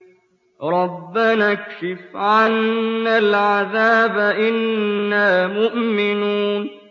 رَّبَّنَا اكْشِفْ عَنَّا الْعَذَابَ إِنَّا مُؤْمِنُونَ